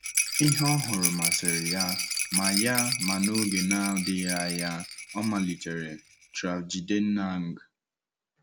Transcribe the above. Ihe ọ nụrụ masịrị ya, ma ya, ma n'oge na-adịghị anya ọ malitere travJidennang.